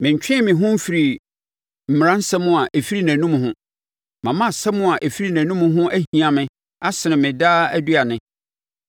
Mentwee me ho mfirii mmaransɛm a ɛfiri nʼanom ho, mama asɛm a ɛfiri nʼanom ho ahia me asene me daa aduane.